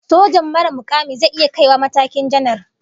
Sojan marar mukami zai iya kai wa matakin janar